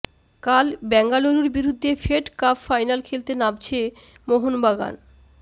কাল বেঙ্গালুরুর বিরুদ্ধে ফেড কাপ ফাইনাল খেলতে নামছে মোহনবাগান